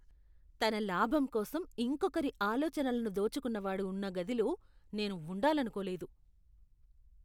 తన లాభం కోసం ఇంకొకరి ఆలోచనలను దోచుకున్నవాడు ఉన్న గదిలో నేను ఉండాలనుకోలేదు.